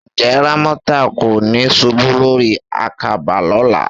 Ǹjẹ́ Rámọ́tà kò ní ṣubú lórí àkàbà lọ́la?